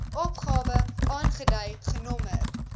opgawe aangedui genommer